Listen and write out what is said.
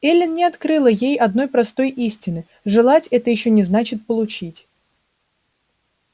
эллин не открыла ей одной простой истины желать это ещё не значит получить